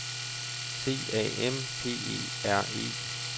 C A M P E R E